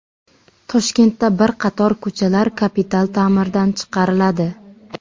Toshkentda bir qator ko‘chalar kapital ta’mirdan chiqariladi.